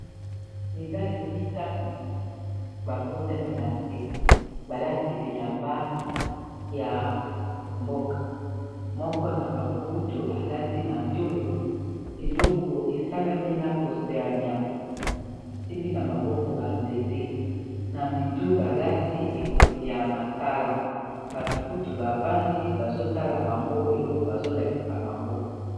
Mibale mitano ba ngunzami na se balati bilamba ya mboka moko na bango kutu alati na tolo eloko esalami na poso ya nyama basimbi na maboko ba nzete na mitu balati ekoti ya masala batu kutu bavandi bazotala bango eloko bazolakisa bango.